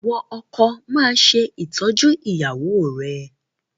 Ìwọ ọkọ, máa ṣe ìtọ́jú ìyàwó rẹ̀!